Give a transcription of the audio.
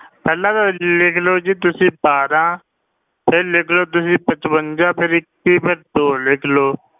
ਪਹਿਲਾਂ ਤਾਂ ਲਿਖ ਲਓ ਜੀ ਤੁਸੀਂ ਬਾਰਾਂ ਫਿਰ ਲਿਖ ਲਓ ਤੁਸੀਂ ਪਚਵੰਜਾ ਫਿਰ ਇੱਕੀ ਫਿਰ ਦੋ ਲਿਖ ਲਓ।